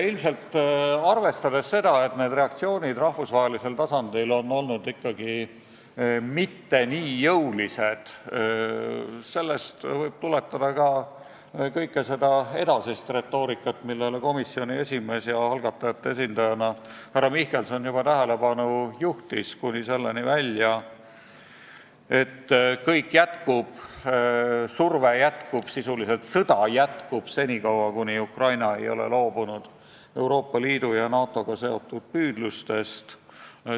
Ilmselt sellest, et reaktsioonid rahvusvahelisel tasandil ei ole olnud ikkagi mitte nii jõulised, võib tuletada kogu seda edasist retoorikat, millele komisjoni esimees härra Mihkelson algatajate esindajana juba tähelepanu juhtis, kuni selleni välja, et kõik jätkub, surve jätkub, sisuliselt sõda jätkub senikaua, kuni Ukraina ei ole loobunud Euroopa Liidu ja NATO-ga seotud püüdlustest.